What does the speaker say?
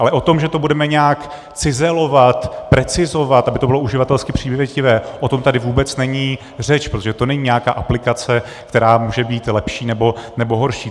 Ale o tom, že to budeme nějak cizelovat, precizovat, aby to bylo uživatelsky přívětivé, o tom tady vůbec není řeč, protože to není nějaká aplikace, která může být lepší nebo horší.